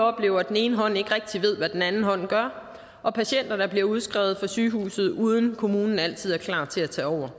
oplever at den ene hånd ikke rigtig ved hvad den anden hånd gør er patienter der bliver udskrevet fra sygehuset uden at kommunen altid er klar til at tage over